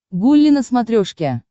гулли на смотрешке